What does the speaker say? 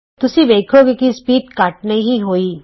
ਤੁਸੀਂ ਵੇਖੋਗੇ ਕਿ ਸਪੀਡ ਘੱਟ ਨਹੀਂ ਹੋਈ